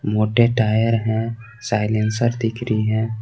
मोटे टायर है साइलेंसर दिख रही है।